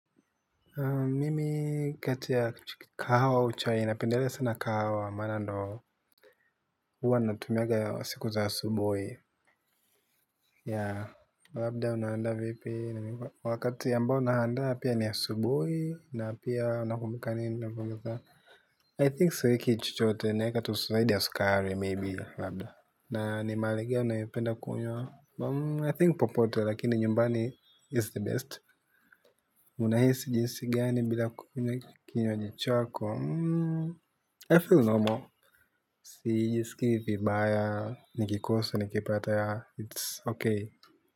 Mimi kati ya kahawa au chai napendelea sana kahawa maana ndiyo huwa natumianga siku za asubuhi. Yeah, labda unaandaa vipi, wakati ambao naandaa pia ni asubuhi, na pia unakumbuka nini unavyoweka I think siweki chochote, naweka tu zaidi ya sukari, maybe, labda. Na ni mahali gani unapenda kunywa I think popote lakini nyumbani is the best. Unahisi jinsi gani bila kukunywa kinywaji chako I feel normal sijisikii vibaya nikikosa nikipata yeah it's okay.